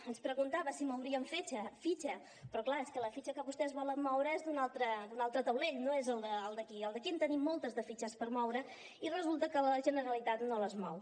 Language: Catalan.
ens preguntava si mouríem fitxa però clar és que la fitxa que vostès volen moure és d’un altre taulell no és d’aquí el d’aquí en tenim moltes de fitxes per moure i resulta que la generalitat no les mou